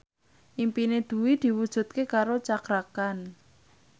impine Dwi diwujudke karo Cakra Khan